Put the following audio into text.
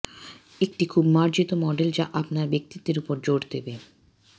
একটি খুব মার্জিত মডেল যা আপনার ব্যক্তিত্বের উপর জোর দেবে